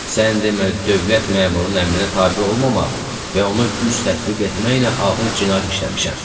Sən demə dövlət məmurunun əmrinə tabe olmamaq və ona güc tətbiq etməklə ağır cinayət işləmişəm.